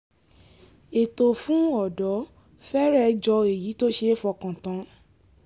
ètò fún ọ̀dọ́ fẹ́rẹ̀ jọ èyí tó ṣe é fọkàn tán